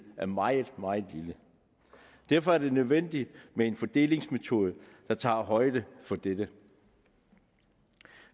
er meget meget lille derfor er det nødvendigt med en fordelingsmetode der tager højde for dette